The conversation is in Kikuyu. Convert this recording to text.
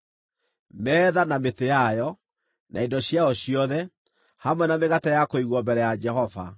metha na mĩtĩ yayo, na indo ciayo ciothe, hamwe na mĩgate ya kũigwo mbere ya Jehova,